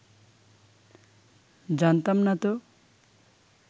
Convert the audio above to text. জানতাম না তো